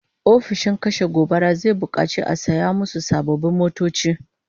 Ofishin kashe gobara zai bukaci a saya musu sababbin motoci